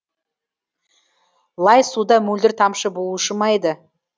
лай суда мөлдір тамшы болушы ма еді